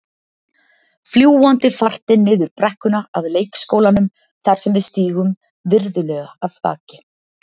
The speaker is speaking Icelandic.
Fljúgandi fartin niður brekkuna að leikskólanum þar sem við stígum virðulega af baki.